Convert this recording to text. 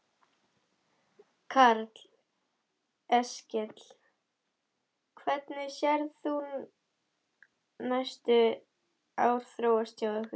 Karl Eskil: Hvernig sérð þú næstu ár þróast hjá ykkur?